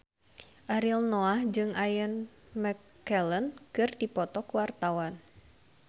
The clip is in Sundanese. Ariel Noah jeung Ian McKellen keur dipoto ku wartawan